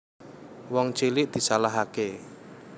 Wong cilik disalahake